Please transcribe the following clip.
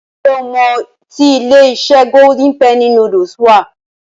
Ǹ jẹ́ o mọ I tí ilé-iṣẹ́ Golden penny noodles wà.